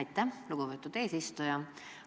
Aitäh, lugupeetud eesistuja!